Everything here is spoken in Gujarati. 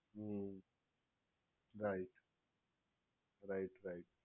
hmm right right right